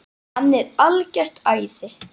Hann er algert æði!